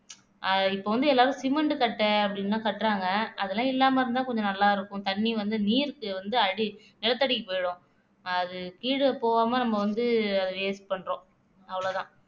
ஆஹ் இப்போ வந்து எல்லாரும் சிமெண்ட் கட்டை அப்படின்னுதான் கட்டுறாங்க அதெல்லாம் இல்லாம இருந்தா கொஞ்சம் நல்லா இருக்கும் தண்ணி வந்து நீருக்கு வந்து அடி நிலத்தடிக்கு போயிடும் அது கீழே போகாம நம்ம வந்து அத waste பண்றோம் அவ்வளவுதான்